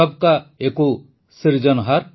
ସଭ୍ କା ଏକୌ ସିରଜନହାର